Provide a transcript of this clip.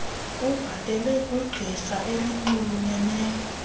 ubhatele kwigqirha elinxulumeneyo